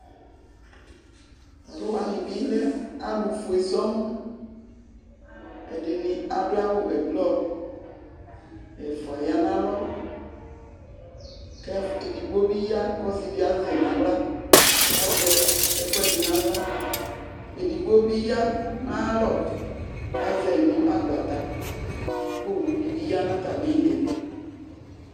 Tʋ alʋ wanɩ bɩ lɛ alʋfue sɔŋ Ɛdɩnɩ adʋ awʋ ɛblɔ Ɛfʋa ya nʋ alɔ kʋ ɛf edigbo bɩ ya kʋ ɔsɩ dɩ azɛ nʋ aɣla kʋ azɛ ɛkʋɛdɩ nʋ aɣla Edigbo bɩ ya nʋ ayalɔ kʋ azɛ yɩ nʋ agbata kʋ owu dɩ bɩ ya nʋ atamɩ ɩɩlɩ